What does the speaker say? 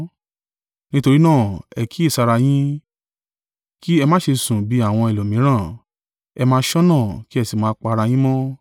Nítorí náà, ẹ kíyèsára yín kí ẹ má ṣe sùn bí àwọn ẹlòmíràn. Ẹ máa ṣọ́nà kí ẹ sì máa pa ara yín mọ́.